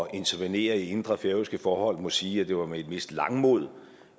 intervenere i indre færøske forhold må sige at det var med et vist langmod